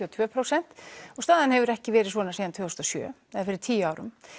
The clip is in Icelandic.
og tvö prósent og staðan hefur ekki verið svona síðan tvö þúsund og sjö fyrir tíu árum